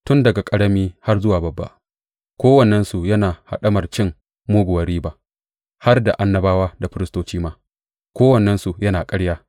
Tun daga ƙarami har zuwa babba, kowannensu yana haɗamar cin muguwar riba; har da annabawa da firistoci ma, kowannensu yana ƙarya.